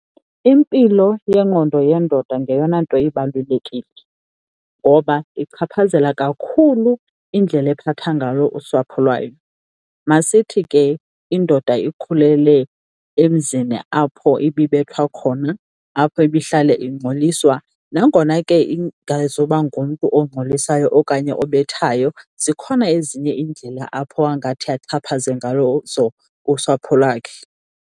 Impilo yengqondo yendoda ngeyona nto ibalulekile ngoba ichaphazela kakhulu indlela ephatha ngalo usapho lwayo. Masithi ke indoda ikhulele emzini apho ibibethwa khona, apho ibahlale ingxoliswa, nangona ke ingazuba ngumntu ongxolisayo okanye obhethayo zikhona ezinye iindlela apho angathi axhaphaze ngalo, ngazo usapho lwakhe.